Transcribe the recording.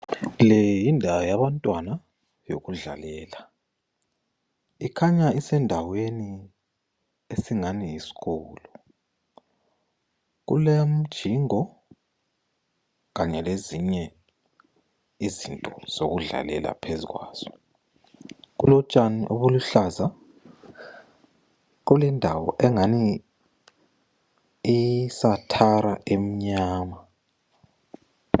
Le yindawo yabantwana yokudlalela ekhanya isendaweni esingani yisikolo, kulemjingo kanye lezinye izinto ezokudlalela phezu kwazo. Kulotshani obuluhlaza kulendawo engani isathara emnyama.